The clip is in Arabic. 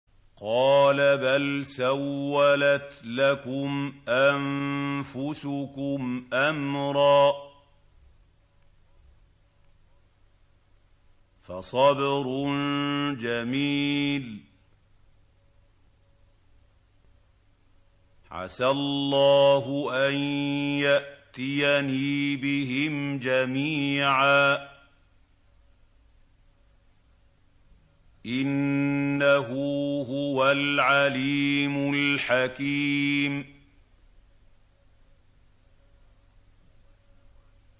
قَالَ بَلْ سَوَّلَتْ لَكُمْ أَنفُسُكُمْ أَمْرًا ۖ فَصَبْرٌ جَمِيلٌ ۖ عَسَى اللَّهُ أَن يَأْتِيَنِي بِهِمْ جَمِيعًا ۚ إِنَّهُ هُوَ الْعَلِيمُ الْحَكِيمُ